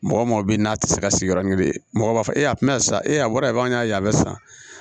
Mɔgɔ mɔgɔ bɛ ye n'a tɛ se ka sigi yɔrɔ ɲini mɔgɔ b'a fɔ tina san e a bɔra an y'a ye a bɛ san